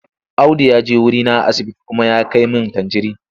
Audu ya je wurina a asibiti kuma ya kai min tanjirin.